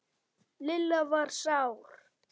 Lilla var sár.